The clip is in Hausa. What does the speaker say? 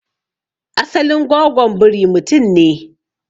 asalin gwagwon biri mutum ne?